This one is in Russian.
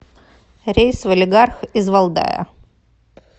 рейс в алигарх из валдая